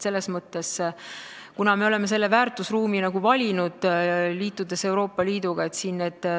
Me oleme valinud selle väärtusruumi, liitudes Euroopa Liiduga.